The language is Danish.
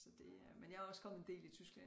Så det er men jeg er også kommet en del i Tyskland